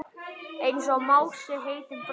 Einsog Mási heitinn bróðir.